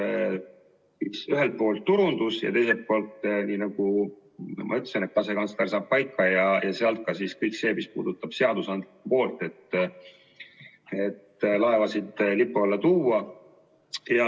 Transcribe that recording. Ühelt poolt turundusega ja teiselt poolt, nagu ma ütlesin, asekantsler saab paika ja seejärel ka kõik see, mis puudutab seadusandlikku poolt, et laevasid Eesti lipu alla tuua.